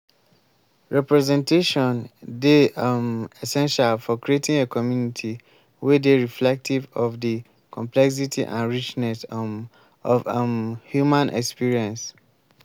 representation dey um essential for creating a community wey dey reflective of di complexity and richness um of um human experience.